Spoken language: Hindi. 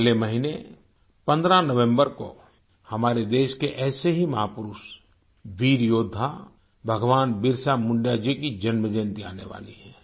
अगले महीने 15 नवम्बर को हमारे देश के ऐसे ही महापुरुष वीर योद्धा भगवान बिरसा मुंडा जी की जन्मजयंती आने वाली है